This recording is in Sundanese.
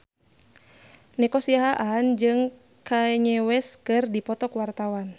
Nico Siahaan jeung Kanye West keur dipoto ku wartawan